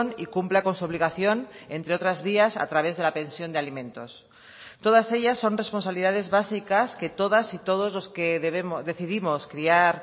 y cumpla con su obligación entre otras vías a través de la pensión de alimentos todas ellas son responsabilidades básicas que todas y todos los que decidimos criar